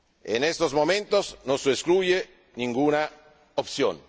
En estos momentos no se excluye ninguna opción.